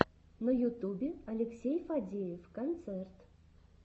на ютубе алексей фадеев концерт